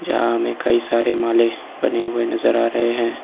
जहां में कई सारे माले बने हुए नजर आ रहे है।